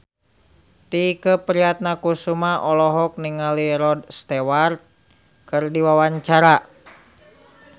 Tike Priatnakusuma olohok ningali Rod Stewart keur diwawancara